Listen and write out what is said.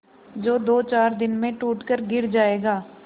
जो दोचार दिन में टूट कर गिर जाएगा